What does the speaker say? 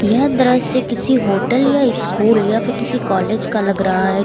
यह दृश्य किसी होटल या स्कूल या फिर किसी कॉलेज का लग रहा है।